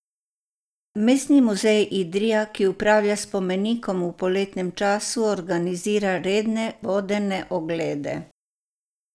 Mestni muzej Idrija, ki upravlja s spomenikom v poletnem času organizira redne vodene oglede.